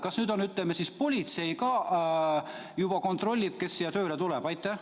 Kas nüüd, ütleme siis, politsei juba kontrollib, kes siia tööle tuleb?